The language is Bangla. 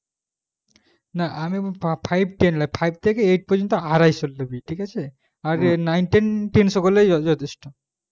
না না আমি five থেকে eight পর্যন্ত আড়াইশো নিতে হবে আর nine ten তিনশো করলে যস্তুত